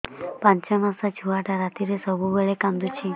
ପାଞ୍ଚ ମାସ ଛୁଆଟା ରାତିରେ ସବୁବେଳେ କାନ୍ଦୁଚି